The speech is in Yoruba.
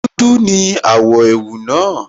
Dúdú ní àwọ̀ ẹ̀wù náà